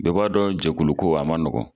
Bɛɛ b'a dɔn jɛkulukuko a man nɔgɔn